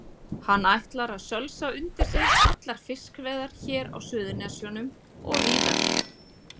Hann ætlar að sölsa undir sig allar fiskveiðar hér á Suðurnesjum og víðar.